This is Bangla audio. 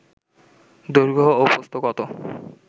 দৈর্ঘ্য ও প্রস্থ কত